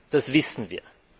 Das wissen wir.